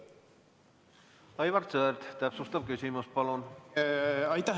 Aivar Sõerd, täpsustav küsimus palun!